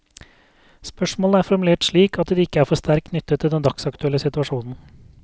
Spørsmålene er formulert slik at de ikke er for sterkt knyttet til den dagsaktuelle situasjonen.